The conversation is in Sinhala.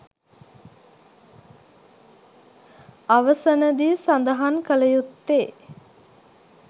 අවසනදී සදහන් කළ යුත්තේ